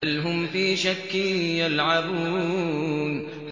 بَلْ هُمْ فِي شَكٍّ يَلْعَبُونَ